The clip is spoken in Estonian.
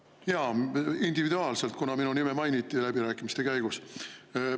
Jaa, individuaalselt, kuna minu nime mainiti läbirääkimiste käigus.